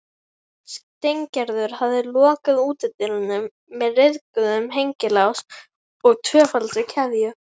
Steingerður hafði lokað útidyrunum með ryðguðum hengilás og tvöfaldri keðju.